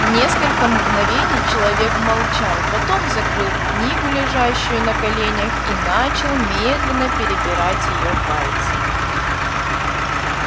несколько мгновений человек молчал потом закрыл книгу лежащую на коленях и начал медленно перебирать её пальцами